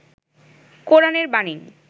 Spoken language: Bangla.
কোরআন এর বাণী